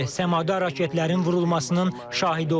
Səmada raketlərin vurulmasının şahidi olduq.